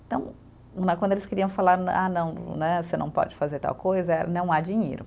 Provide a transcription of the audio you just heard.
Então né, quando eles queriam falar, ah, não, né, você não pode fazer tal coisa, eh não há dinheiro.